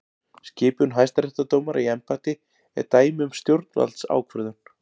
Skipun hæstaréttardómara í embætti er dæmi um stjórnvaldsákvörðun.